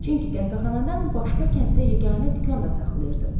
Çünki qəhvəxanadan başqa kənddə yeganə dükan da saxlayırdı.